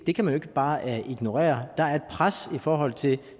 det kan man ikke bare ignorere der er et pres i forhold til